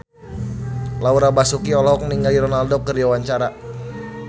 Laura Basuki olohok ningali Ronaldo keur diwawancara